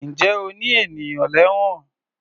Ǹjẹ́ o ní ènìyàn lẹ́wọ̀n?